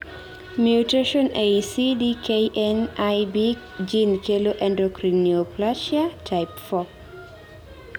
mutation ei CDKN1B gene kelo endocrine neoplasia type 4